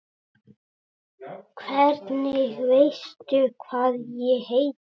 Hvernig veistu hvað ég heiti?